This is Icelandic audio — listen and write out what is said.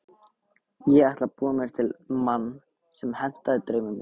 Ég ætlaði að búa mér til mann sem hentaði draumum mínum.